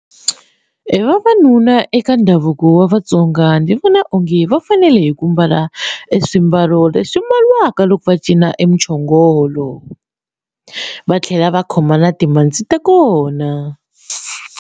Vavanuna eka ndhavuko wa vaTsonga ndzi vona onge va fanele ku mbala swimbalo leswi mbaliwaka loko va cina e muchongolo va tlhela va khoma na timhandzi ta kona.